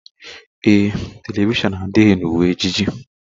Ee e, telivishọn adịghị na uwe ejiji